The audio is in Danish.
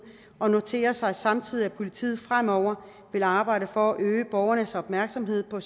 og noterer sig samtidig at politiet fremover vil arbejde for at øge borgernes opmærksomhed på